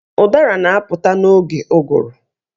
Ụdara na-apụta n'oge ụgụrụ.